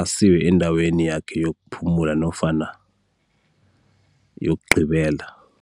asiwe endaweni yakhe yokuphumula nofana yokugqibela.